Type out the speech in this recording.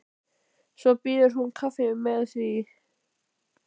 Svo býður hún kaffi og með því.